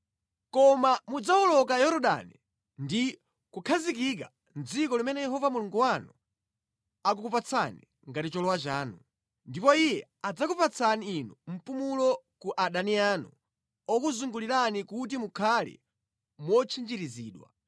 Koma mudzawoloka Yorodani ndi kukhazikika mʼdziko limene Yehova Mulungu wanu akukupatsani ngati cholowa chanu, ndipo Iye adzakupatsani inu mpumulo ku adani anu okuzungulirani kuti mukhale motchinjirizidwa.